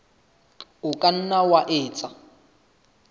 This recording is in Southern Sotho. o ka nna wa etsa